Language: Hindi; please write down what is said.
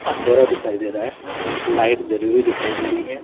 अंधेरा दिखाई दे रहा है लाइट जली हुई दिखाई दे रही है।